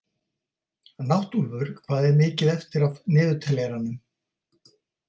Náttúlfur, hvað er mikið eftir af niðurteljaranum?